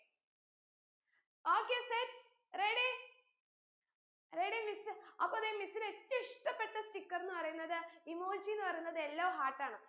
okay set ready ready miss അപ്പോ ദേ miss ന് ഏറ്റം ഇഷ്ടപ്പെട്ട sticker ന്ന് പറീന്നത് emoji ന്ന് പറീന്നത് yellow heart ആണ്